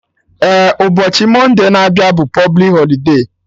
Eh, ụbọchị Monday na abịa bụ publik holide